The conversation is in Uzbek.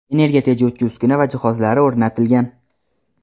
energiya tejovchi uskuna va jihozlari o‘rnatilgan.